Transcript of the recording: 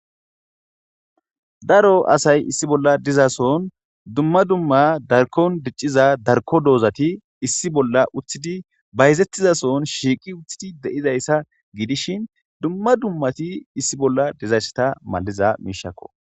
Daro asay issi bolla dizason dumma dumma darkon dicciza darko doozati issi bolla uthidi bayzettizason shiiqi uththidi de7izayssa gidishin dumma dummati issi bolla dizaysseta malliza miishakko.